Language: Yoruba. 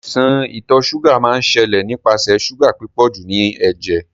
Àìsan ìtò sugar máa n sẹ́lẹ̀ nípasẹ̀ sugar pípọ̀jù nínú éjé